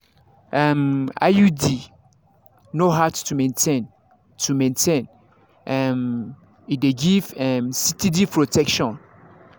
um iud no hard to maintain to maintain um e dey give um steady protection.